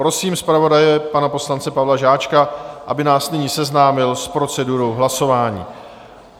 Prosím zpravodaje, pana poslance Pavla Žáčka, aby nás nyní seznámil s procedurou hlasování.